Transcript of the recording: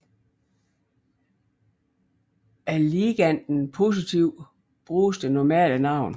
Er liganden positiv bruges det normale navn